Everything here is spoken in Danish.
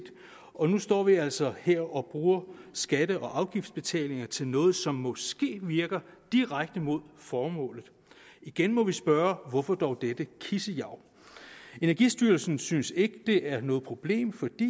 og nu står vi altså her og bruger skatte og afgiftsbetalinger til noget som måske virker direkte mod formålet igen må vi spørge hvorfor dog dette kissejav energistyrelsen synes ikke det er noget problem fordi